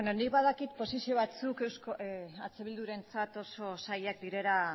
nik badakit posizio batzuk eh bildurentzat oso zailak direla